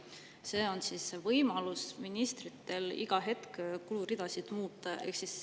See on ministrite võimalus iga hetk kuluridasid muuta.